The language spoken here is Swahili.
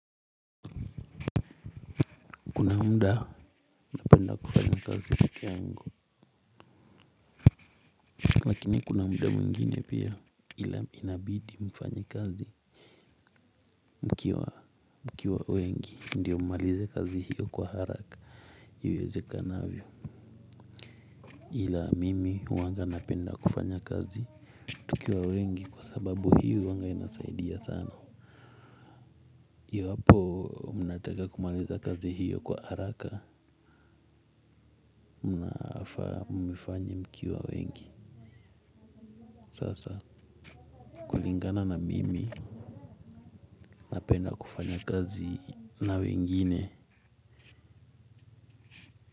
Kuna muda napenda kufanya kazi peke yangu. Lakini kuna muda mwingine pia ila inabidi mfanye kazi mkiwa mkiwa wengi ndiyo mmalize kazi hiyo kwa haraka. Iwezekanavyo ila mimi huwanga napenda kufanya kazi tukiwa wengi kwa sababu hiyo huwanga inasaidia sana. Iwapo mnataka kumaliza kazi hiyo kwa haraka, mnafaa muifanye mkiwa wengi sawasawa. Kulingana na mimi napenda kufanya kazi na wengine.